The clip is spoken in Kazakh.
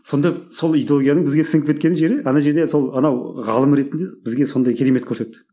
сонда сол идеологияның бізге сіңіп кеткен жері ана жерде сол анау ғалым ретінде бізге сондай керемет көрсетті